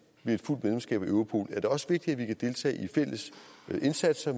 ved et fuldt medlemskab af europol er det også vigtigt at vi kan deltage i fælles indsatser